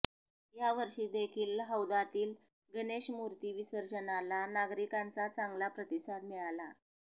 या वर्षी देखील हौदातील गणेश मूर्ती विसर्जनाला नागरिकांचा चांगला प्रतिसाद मिळाला